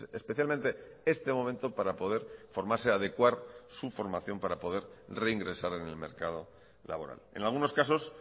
especialmente este momento para poder formarse adecuar su formación para poder reingresar en el mercado laboral en algunos casos